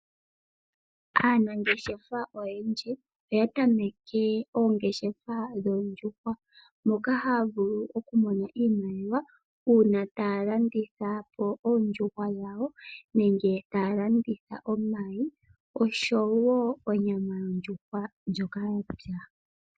Aanangeshefa oyendji oya tameke oongeshefa dhoondjuhwa moka haya vulu oku mona iimaliwa uuna taya landithapo oondjuhwa dhawo nenge taya landitha omayi oshowo onyama yondjuhwa ndjoka ya pya.